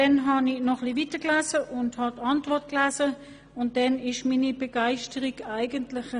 Beim Lesen der Antwort verschwand jedoch meine Begeisterung ziemlich.